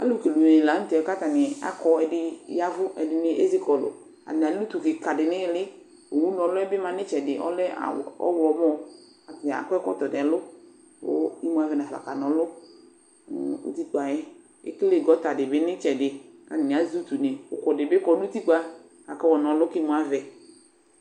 Alʋkele unenɩ la nʋ tɛ kʋ atanɩ akɔ, ɛdɩnɩ ya ɛvʋ, ɛdɩnɩ ezi kɔlʋ Atanɩ alɛ utu kɩka dɩ nʋ ɩɩlɩ Owuna ɔlʋ yɛ bɩ ma nʋ ɩtsɛdɩ, ɔlɛ awʋ ɔɣlɔmɔ kʋ atanɩ akɔ ɛkɔtɔ nʋ ɛlʋ kʋ imu avɛ nafa kana ɔlʋ nʋ utikpa yɛ Ekele gɔta dɩ bɩ nʋ ɩtsɛdɩ kʋ atanɩ azɛ utunɩ Ʋkʋ dɩ bɩ kɔ nʋ utiikpa kʋ akayɔ na ɔlʋ kʋ imuavɛ